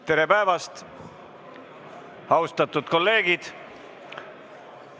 Tere päevast, austatud kolleegid!